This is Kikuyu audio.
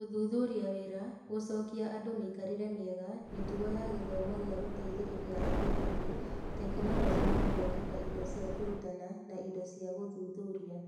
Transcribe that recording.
Gũthuthuria wĩra, gũcokia andũ mĩikarĩre mĩega, mĩtugo ya gĩthomo gĩa gũteithĩrĩria arĩa angĩ, tekinoronjĩ na gũthondeka indo cia kũrutana na indo cia gũthuthuria.